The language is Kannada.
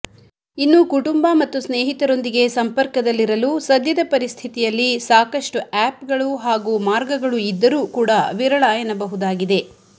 ಇನ್ನು ಕುಟುಂಬ ಮತ್ತು ಸ್ನೇಹಿತರೊಂದಿಗೆ ಸಂಪರ್ಕದಲ್ಲಿರಲು ಸದ್ಯದ ಪರಿಸ್ಥಿತಿಯಲ್ಲಿ ಸಾಕಷ್ಟು ಆಪ್ಗಳು ಹಾಗೂ ಮಾರ್ಗಗಳು ಇದ್ದರೂ ಕೂಡ ವಿರಳ ಎನ್ನಬಹುದಾಗಿದೆ